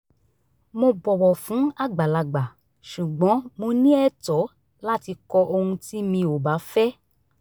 mo bọ̀wọ̀ fún àgbàlagbà ṣùgbọ́n mo ní ẹ̀tọ́ láti kọ ohun tí mi ò bá fẹ́